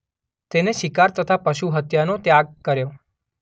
તેને શિકાર તથા પશુ હત્યાનો ત્યાગ કર્યો.